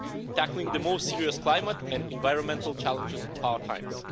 tackling the most serious climate and environmental challenges of our times.